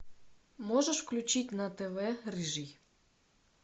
можешь включить на тв рыжий